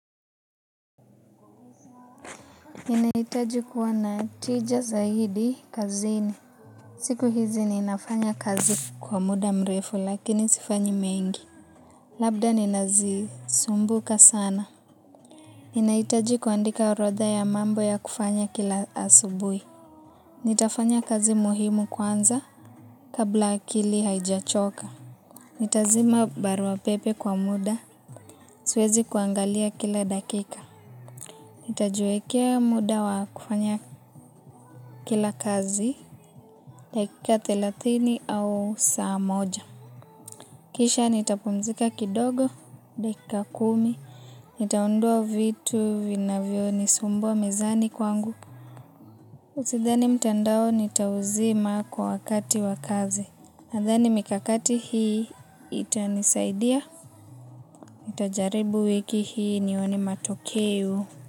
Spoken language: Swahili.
Ninahitaji kuwa na tija zaidi kazini. Siku hizi ninafanya kazi kwa muda mrefu lakini sifanyi mengi. Labda nina zi sumbuka sana. Ninahitaji kuandika orodha ya mambo ya kufanya kila asubuhi. Nitafanya kazi muhimu kwanza kabla akili haijachoka. Nitazima barua pepe kwa muda. Suezi kuangalia kila dakika. Nitajiwekea muda wa kufanya kila kazi. Dakika thelathini au saa moja. Kisha nitapumzika kidogo. Dakika kumi. Nitaondoa vitu vinavyo nisumbua mezani kwangu. Usidhani mtandao nitauzima kwa wakati wa kazi. Nadhani mikakati hii itanisaidia. Nitajaribu wiki hii nione matokeo.